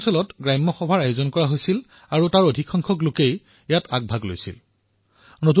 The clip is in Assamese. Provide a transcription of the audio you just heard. এই অঞ্চলসমূহত গ্ৰাম সভাৰ আয়োজন হোৱা বৃহৎ সংখ্যাত জনতাই ভাগ লোৱা আৰু নিজৰ বাবে যোজনা প্ৰস্তুত কৰা এই সকলোবোৰ এক সুখদ অনুভূতি